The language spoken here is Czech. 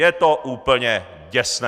Je to úplně děsné!